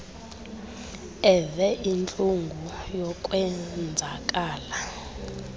eve intlungu yokwenzakala